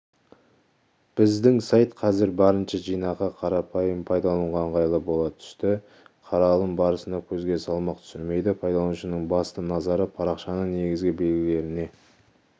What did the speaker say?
біздің сайт қазір барынша жинақы қарапайым пайдалануға ыңғайлы бола түсті қаралым барысында көзге салмақ түсірмейді пайдаланушының басты назары парақшаның негізгі белгілеріне